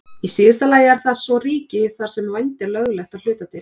Í síðasta lagi eru það svo ríki þar sem vændi er löglegt að hluta til.